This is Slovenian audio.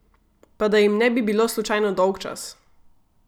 Pa da jim ne bi bilo slučajno dolgčas!